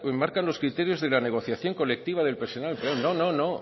marcan los criterios de la negociación colectiva del personal no no